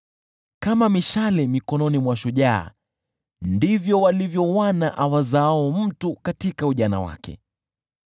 Kama mishale mikononi mwa shujaa ndivyo walivyo wana awazaao mtu katika ujana wake.